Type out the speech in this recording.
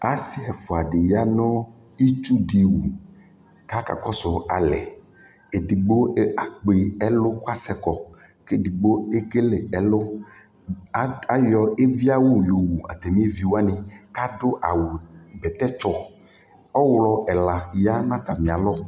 asii ɛƒʋa di yanʋ itsʋ di wʋ kʋakakɔsʋ alɛ, ɛdigbɔ akpɔ ɛlʋkʋ asɛkɔ kʋ ɛdigbɔ ɛkɛlɛ ɛlʋ, ayɔ ɛvi awʋ yɔ wʋ atami ɛvi wani kʋ adʋ awʋ bɛtɛ tsɔ, ɔwlɔ ɛla yanʋ atami alɔ